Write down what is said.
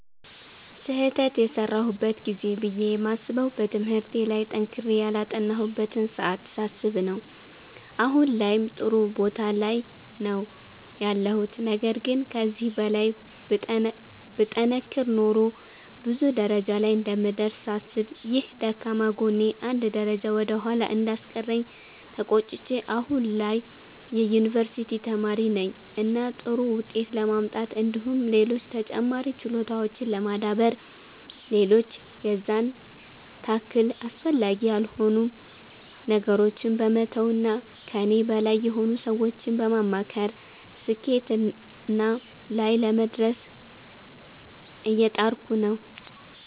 ስህተት የሰራሁበት ጊዜ ብዬ የማስበዉ በትምህርቴ ላይ ጠንክሬ ያላጠናሁበትን ሰዓት ሳስብ ነዉ አሁን ላይም ጥሩ ቦታ ላይ ነዉ ያለሁት ነገር ግን ከዚህ በላይ ብጠነክር ኖሮ ብዙ ደረጃ ላይ እንደምደርስ ሳስብ ይህ ደካማ ጎኔ አንድ ደረጃ ወደ ኋላ እንዳስቀረኝ ተቆጭቼ አሁን ላይ የዩኒቨርሲቲ ተማሪ ነኝ እና ጥሩ ዉጤት ለማምጣት እንዲሁም ሌሎች ተጨማሪ ችሎታዎችን ለማዳበር ሌሎች የዛን ታክል አስፈላጊ ያልሆኑ ነገሮችን በመተዉ እና ከኔ በላይ የሆኑ ሰዎችን በማማከር ስኬትና ላይ ለመድረስ እየጣርኩ ነዉ።